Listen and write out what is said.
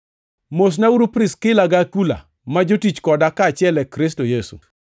Mosnauru Priskila gi Akula, ma jotich koda kaachiel e Kristo Yesu.